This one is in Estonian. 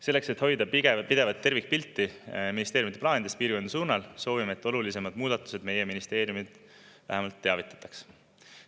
Selleks et hoida pidevat tervikpilti ministeeriumide plaanides piirkondade suunal, soovime, et olulisematest muudatustest meie ministeeriumi vähemalt teavitatakse.